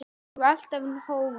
Og alltaf hógvær.